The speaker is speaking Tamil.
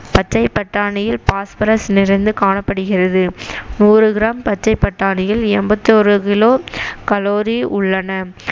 பச்சை பட்டாணியில் phosphorus நிறைந்து காணப்படுகிறது நூறு gram பச்சை பட்டாணியில் எண்பத்தொரு kilocalorie உள்ளன